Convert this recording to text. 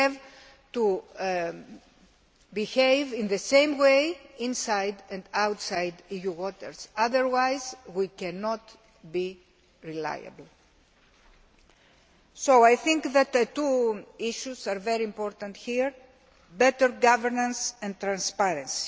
We have to behave the same way inside and outside EU waters, otherwise we cannot be reliable. I think two issues are very important here better governance and transparency.